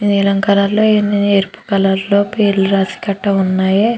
నీలం కలర్ లో ఎరుపు కలర్ లో పేర్లు రాసి కట్ట ఉన్నాయి.